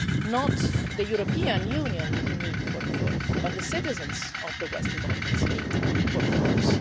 not the European Union need for reforms but the citizens of the Western Balkans' need for reforms.